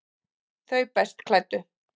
Þau best klæddu